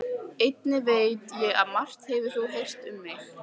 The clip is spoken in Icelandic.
Einnig veit ég að margt hefur þú heyrt um mig.